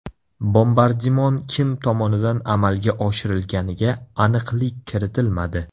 Bombardimon kim tomonidan amalga oshirilganiga aniqlik kiritilmadi.